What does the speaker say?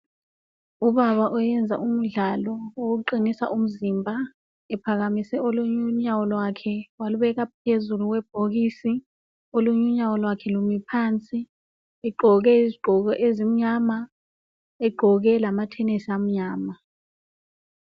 Ubaba oyenza umdlalo wokuqinisa umzimba. Ephkamise olunye unyawo lwakhe, Walubeka phezulu kwebhokisi, Olunye unyawo lwakhe lumi phansi. Egqoke izigqoko ezimnyama. Egqoke lamathenisi amnyama.